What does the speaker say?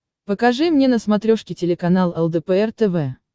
покажи мне на смотрешке телеканал лдпр тв